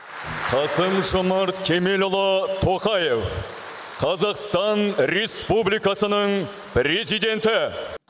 қасым жомарт кемелұлы тоқаев қазақстан республикасының президенті